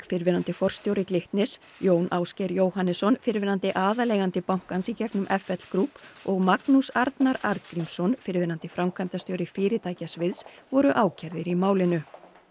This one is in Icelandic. fyrrverandi forstjóri Glitnis Jón Ásgeir Jóhannesson fyrrverandi aðaleigandi bankans í gegnum f l Group og Magnús Arnar Arngrímsson fyrrverandi framkvæmdastjóri fyrirtækjasviðs voru ákærðir í málinu